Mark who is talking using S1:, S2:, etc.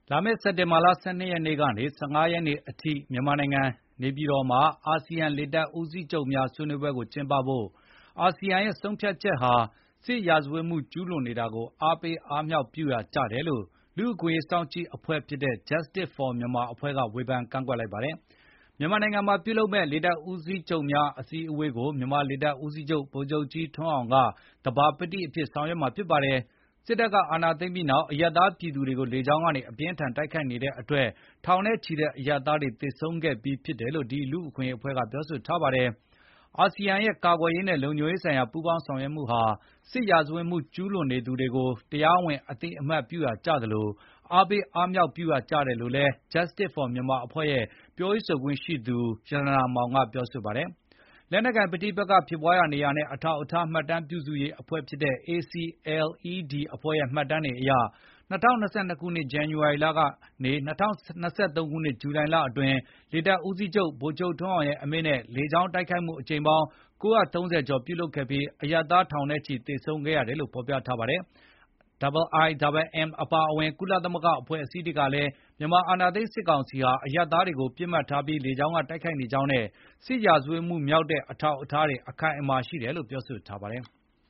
S1: လာမယ့်စက်တင်ဘာလ ၁၂ ရက်ကနေ ၁၅ ရက်အထိ မြန်မာနိုင်ငံ နေပြည်တော်မှာ အာဆီယံ လေတပ်ဦးစီးချုပ်များ ဆွေးနွေးပွဲကိုကျင်းပဖို့ အာဆီယံရဲ့ဆုံးဖြတ်ချက်ဟာ စစ်ရာဇတ်မှုကျူးလွန်နေတာကို အားပေးအားမြှောက်ပြုရာ ကျတယ်လို့ လူ့အခွင့်အရေးစောင့်ကြည့်အဖွဲ့ဖြစ်တဲ့ Justice For Myanmar အဖွဲ့က ဝေဖန်ကန့်ကွက်လိုက်ပါတယ်။ မြန်မာနိုင်ငံမှာ ပြုလုပ်မယ့် လေတပ်ဦးစီးချုပ်များ အစည်းအဝေးကို မြန်မာလေတပ်ဦးစီးချုပ် ဗိုလ်ချုပ်ကြီးထွန်းအောင်က သဘာပတိအဖြစ် ဆောင်ရွက်မှာဖြစ်ပါတယ်။ စစ်တပ်က အာဏာသိမ်းပြီးနောက် အရပ်သားပြည်သူတွေကို လေကြောင်းကနေ အပြင်းအထန် တိုက်ခိုက်နေတဲ့အတွက် ထောင်နဲ့ချီတဲ့အရပ်သားတွေ သေဆုံးခဲ့ပြီးဖြစ်တယ်လို့လည်း ဒီလူ့အခွင့်အရေးအဖွဲ့က ပြောဆိုထားတယ်။ “အာဆီယံရဲ့ ကာကွယ်ရေးနဲ့ လုံခြုံရေးဆိုင်ရာ ပူးပေါင်းဆောင်ရွက်မှုဟာ စစ်ရာဇဝတ်မှု ကျူးလွန်သူတွေကို တရားဝင် အသိအမှတ်ပြုရာကျသလို၊ အာပေးအားမြှောက်ပြုရာလည်းကျတယ်လို့ Justice for Myanmar အဖွဲ့ ရဲ့ပြောရေးဆိုခွင့်ရှိသူ ရတနာမောင်က ပြောဆိုပါတယ်။ လက်နက်ကိုင်ပဋိပက္ခဖြစ်ပွားရာနေများနဲ့ အထောက်အထား မှတ်တမ်းပြုစုရေးအဖွဲ့ဖြစ်တဲ့ ACLED ရဲ့မှတ်တမ်းတွေအရ ၂၀၂၂ ခုနှစ် ဇန္နဝါရီလကနေ ၂၀၂၃ ခုနှစ် ဇူလိုင်လအတွင်း လေတပ်ဦးစီးချုပ် ဗိုလ်ချုပ်ထွန်းအောင်ရဲ့အမိန့်နဲ့ လေကြောင်းတိုက်ခိုက်မှုအကြိမ် ၉၃၀ ကျော် ပြုလုပ်ခဲ့ပြီး အရပ်သားထောင်နဲ့ချီ သေဆုံးခဲ့ရတယ်လို့ ဖေါ်ပြထားပါတယ်။ IIMM အပါအဝင် ကုလသမဂ္ဂအဖွဲ့အစည်းတွေကလည်း မြန်မာအာဏာသိမ်းစစ်ကောင်စီဟာ အရပ်သားတွေကို ပစ်မှတ်ထားပြီး လေကြောင်းက တိုက်ခိုက်နေကြောင်းနဲ့ စစ်ရာဇဝတ်မှုမြောက်တဲ့အထောက်အထားတွေ အခိုင်အမာ ရှိတယ်လို့ ပြောဆိုထားပါတယ်။